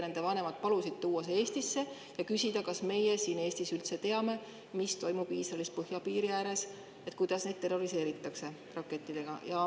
Nende vanemad palusid tuua selle palli Eestisse ja küsida, kas meie siin Eestis üldse teame, mis toimub Iisraeli põhjapiiri ääres, kuidas neid seal terroriseeritakse rakettidega.